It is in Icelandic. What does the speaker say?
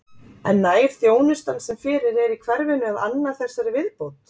En nær þjónustan sem fyrir er í hverfinu að anna þessari viðbót?